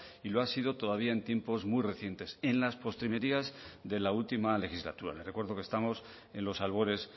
y lo ha sido todavía en tiempos muy recientes en las postrimerías de la última legislatura le recuerdo que estamos en los albores